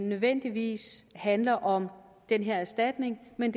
nødvendigvis handler om den her erstatning men